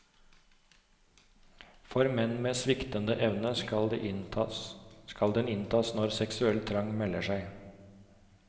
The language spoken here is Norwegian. For menn med sviktende evne skal den inntas når seksuell trang melder seg.